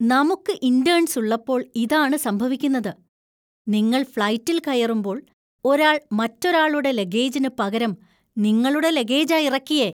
നമുക്ക് ഇന്‍റേണ്‍സ് ഉള്ളപ്പോൾ ഇതാണ് സംഭവിക്കുന്നത്. നിങ്ങൾ ഫ്ലൈറ്റില്‍ കയറുമ്പോൾ ഒരാള്‍ മറ്റൊരാളുടെ ലഗേജിന് പകരം നിങ്ങളുടെ ലഗേജാ ഇറക്കിയേ.